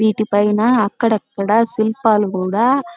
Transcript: వీటి పైన అక్కడ అక్కడ శిల్పాలు కూడా